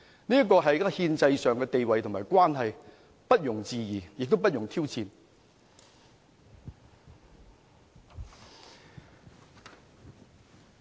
這是憲制上的地位和關係，不容置疑，亦不容挑戰。